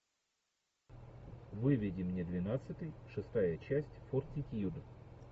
выведи мне двенадцатый шестая часть фортитьюд